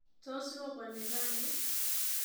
Tos robani rani?